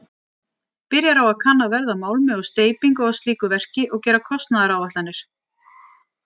Byrjar á að kanna verð á málmi og steypingu á slíku verki og gera kostnaðaráætlanir.